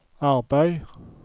arbeid